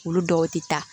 Olu dɔw tɛ taa